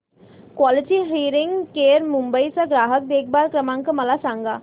quality hearing care Mumbai चा ग्राहक देखभाल क्रमांक मला सांगा